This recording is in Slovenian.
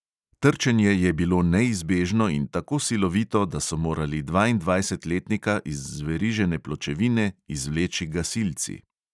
Trčenje je bilo neizbežno in tako silovito, da so morali dvaindvajsetletnika iz zverižene pločevine izvleči gasilci.